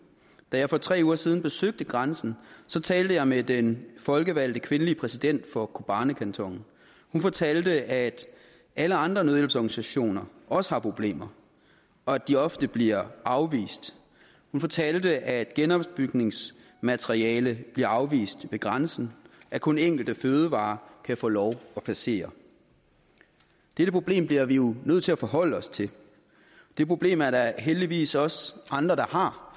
da jeg for tre uger siden besøgte grænsen talte jeg med den folkevalgte kvindelige præsident for kobanikantonen og hun fortalte at alle andre nødhjælpsorganisationer også har problemer og at de ofte bliver afvist hun fortalte at genopbygningsmateriale bliver afvist ved grænsen at kun enkelte fødevarer kan få lov at passere dette problem bliver vi jo nødt til at forholde os til det problem er der heldigvis også andre der har